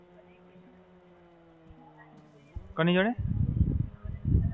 કોની જોડે?